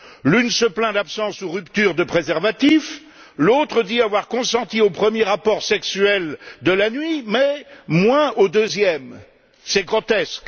L'une se plaint d'absence ou de rupture de préservatif, l'autre dit avoir consenti au premier rapport sexuel de la nuit, mais moins au deuxième. C'est grotesque!